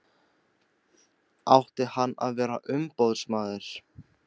Átti hann að vera umboðsmaður?